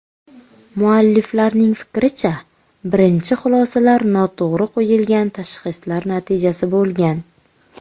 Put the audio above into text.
Mualliflarning fikricha, birinchi xulosalar noto‘g‘ri qo‘yilgan tashxislar natijasi bo‘lgan.